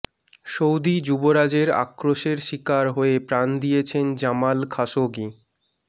Saudi যুবরাজের আক্রোশের শিকার হয়ে প্রাণ দিয়েছেন জামাল খাশোগি